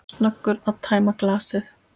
Snöggur að tæma glasið.